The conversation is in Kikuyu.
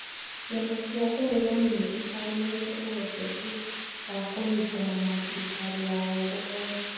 Ciama cia ũregani nĩcikanĩte ũhoteku wa kũnyitana na thirikari ya ũrũmwe.